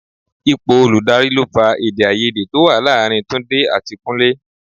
Ipò olùdarí ló fa èdè-áiyedé to wá láàárín Túndé àti Kúnlé.